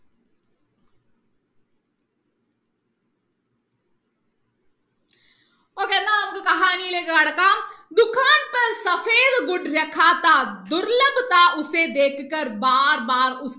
okay എന്നാ നമുക്ക് കഹാനിയിലേക്ക് കടക്കാം